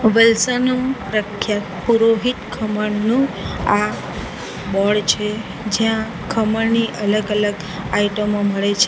વલસાડનું પ્રખ્યાત પુરોહિત ખમણનું આ બોર્ડ છે જ્યાં ખમણની અલગ-અલગ આઈટમો મળે છે.